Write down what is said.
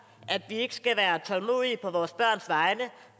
at vi ikke skal være tålmodige på vores børns vegne